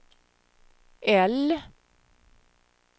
L